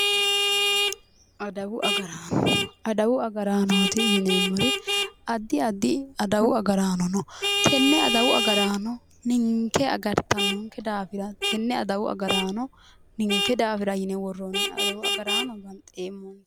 Adawu agaraano adawu agaraanotti yineemmori addi addi adawu agaraano no tenne adawu agaraano ninke agartannonke daafira tenne adawu agaraano ninke daafira yine worroonni adawau agaraano banxeemmo